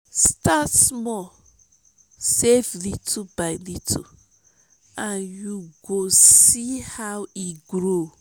start small save little by little and you go see how e grow.